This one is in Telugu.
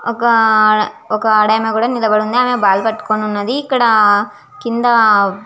ఒక ఆడ ఒక అడమె కూడా నిలబడి వుంది ఆమె బాగ్ పాతుకొని వున్నది. ఇక్కడ కింద --